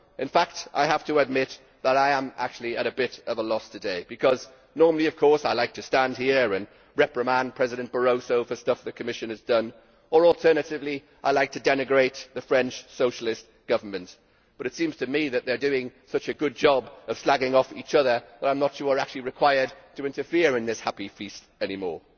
In fact I have to admit that I am actually at a bit of a loss today because normally I like to stand here and reprimand President Barroso for stuff the Commission has done, or alternatively I like to denigrate the French Socialist government, but it seems to me that they are doing such a good job of slagging off each other that I am not sure I am actually required to interfere in this happy feast any more.